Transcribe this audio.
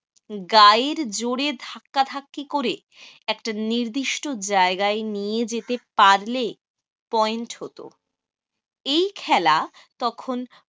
গায়ের জোরে ধাক্কাধাক্কি করে একটা নির্দিষ্ট জায়গায় নিয়ে যেতে পারলে point হতো। এই খেলা তখন